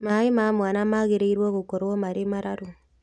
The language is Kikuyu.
Maaĩ ma mwana maagĩrĩirwo gũkorwo marĩ mararu